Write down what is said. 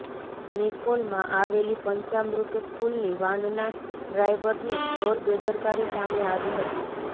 નિકોલમાં આવેલી પંચામૃત સ્કૂલની વાનના ડ્રાઈવરની ઘોર બેદરકારી સામે આવી હતી